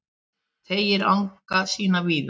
Teygir anga sína víða